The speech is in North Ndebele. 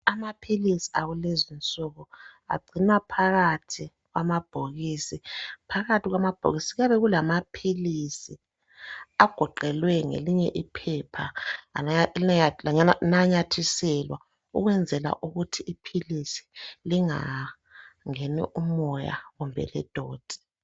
Amaphilisi akulezinsuku agcinwa phakathi kwamabhokisi. Phakathi kwamabhokisi kuyabe kulamaphilisi agoqelwe ngelinye iphepha lananyathiselwa ukwenzela ukuthi iphilisi lingangeni umoya kumbe ledoti.